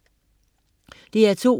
DR2: